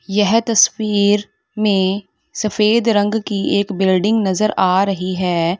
यह तस्वीर में सफेद रंग की एक बिल्डिंग नजर आ रही है।